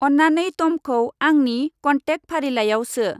अन्नानै तमखौ आंनि कन्तेक्त फारिलाइआव सो।